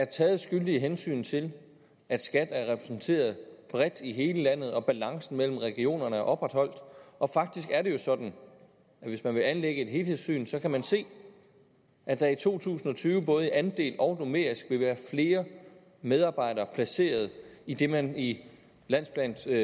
taget skyldige hensyn til at skat er repræsenteret bredt i hele landet og balancen mellem regionerne er opretholdt og faktisk er det jo sådan at hvis man vil anlægge et helhedssyn kan man se at der i to tusind og tyve både i andel og numerisk vil være flere medarbejdere placeret i det man i landsplansregi